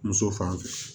Muso fan fɛ